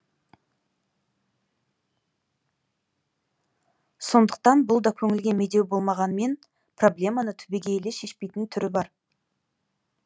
сондықтан бұл да көңілге медеу болғанмен проблеманы түбегейлі шешпейтін түрі бар